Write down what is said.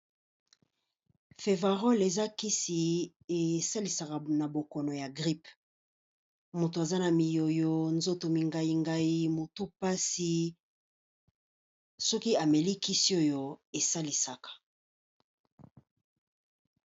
Fevarol eza Kisi esalisaka na bokono ya grippe. Mutu aza na miyoyo, nzoto mingai ngai, motu pasi soki ameli Kisi oyo esalisaka.